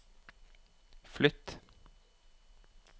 flytt